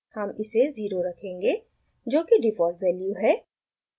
हम इसे 0 रखेंगे जोकि डिफ़ॉल्ट वैल्यू है